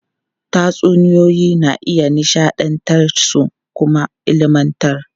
Tatsuniyoyi na iya nishadantar su kuma ilmantar.